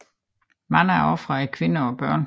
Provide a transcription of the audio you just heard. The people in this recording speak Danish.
Mange af ofrene er kvinder og børn